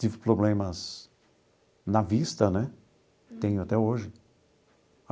Tive problemas na vista né, tenho até hoje.